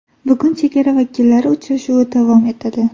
Bugun chegara vakillari uchrashuvi davom etadi.